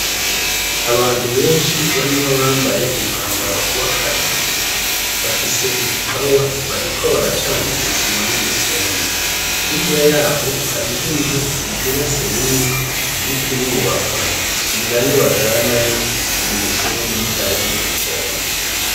Abantu benshi barimwo abambaye umyambaro wakazi bafise ibipawa bariko baracanga isima numusenyi hirya yaho hariho inzu igeretse rimwe iriko irubakwa ninayo bajanayo umusenyi bahejeje guponda